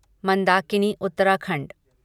Mandakini Uttarakhand